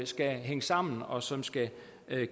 skal hænge sammen og som skal